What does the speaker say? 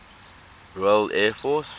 royal air force